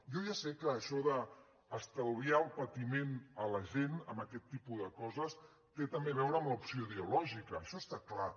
jo ja sé que això d’estalviar el patiment a la gent en aquest tipus de coses té també a veure amb l’opció ideològica això està clar